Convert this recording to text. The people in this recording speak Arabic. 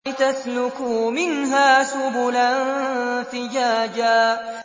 لِّتَسْلُكُوا مِنْهَا سُبُلًا فِجَاجًا